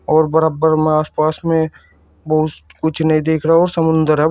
और बराबर में आसपास में कुछ नहीं देख रहा वो समुंदर है वो।